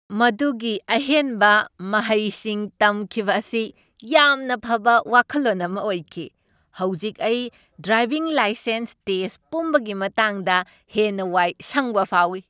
ꯃꯗꯨꯒꯤ ꯑꯍꯦꯟꯕ ꯃꯍꯩꯁꯤꯡ ꯇꯝꯈꯤꯕ ꯑꯁꯤ ꯌꯥꯝꯅ ꯐꯕ ꯋꯥꯈꯜꯂꯣꯟ ꯑꯃ ꯑꯣꯏꯈꯤ! ꯍꯧꯖꯤꯛ ꯑꯩ ꯗ꯭ꯔꯥꯏꯚꯤꯡ ꯂꯥꯏꯁꯦꯟꯁ ꯇꯦꯁ꯭ꯠ ꯄꯨꯝꯕꯒꯤ ꯃꯇꯥꯡꯗ ꯍꯦꯟꯅ ꯋꯥꯏ ꯁꯪꯕ ꯐꯥꯎꯏ꯫